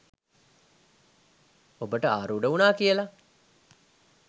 ඔබට ආරූඩ වුණා කියලා.